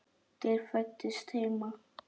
Þær fæddust heima.